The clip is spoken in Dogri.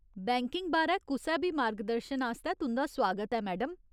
बैंकिंग बारै कुसै बी मार्गदर्शन आस्तै तुं'दा सुआगत ऐ, मैडम।